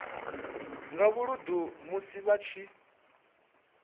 nga vhuludu musi vha tshi